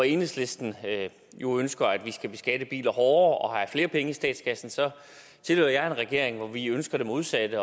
enhedslisten jo ønsker at vi skal beskatte biler hårdere og have flere penge i statskassen så tilhører jeg en regering hvor vi ønsker det modsatte